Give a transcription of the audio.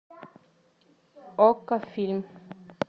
окко фильм